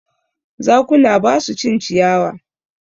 Zakuna ba su cin ciyawa.